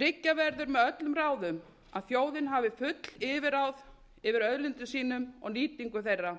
tryggja verður með öllum ráðum að þjóðin hafi full yfirráð yfir auðlindum sínum og nýtingu þeirra